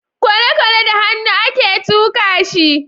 kwalekwale da hannu a ke tuka shi